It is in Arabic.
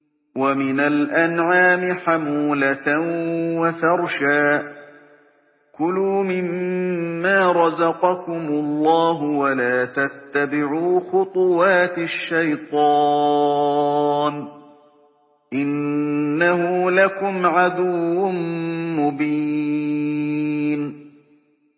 وَمِنَ الْأَنْعَامِ حَمُولَةً وَفَرْشًا ۚ كُلُوا مِمَّا رَزَقَكُمُ اللَّهُ وَلَا تَتَّبِعُوا خُطُوَاتِ الشَّيْطَانِ ۚ إِنَّهُ لَكُمْ عَدُوٌّ مُّبِينٌ